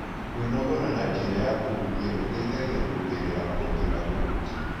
Kwĩnogora na njĩra ya kũhũhĩa gũteĩyhagĩa kũongerera ũhotĩ wa kũhũhĩa